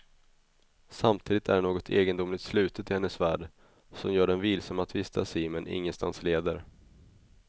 Samtidigt är det något egendomligt slutet i hennes värld som gör den vilsam att vistas i men ingenstans leder.